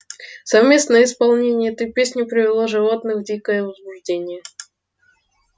совместное исполнение этой песни привело животных в дикое возбуждение